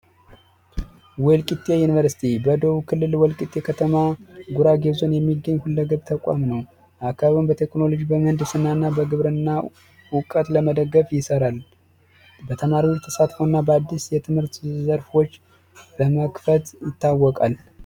ወልቂጤ ዩኒቨርስቲ በደቡብ ክልል ወልቂጤ ከተማ ጉራጌ ዞን የሚገኝ ሁለገብ ተቋም ነው። አካባቢውን በቴክኖሎጂ ፣በምህንድስና እና በግብርና እውቀት ለመደገፍ ይሰራል በተማሪዎች ተሳትፎ እና አዲስ የትምህርት ዘርፍ በመክፈት ይታወቃል።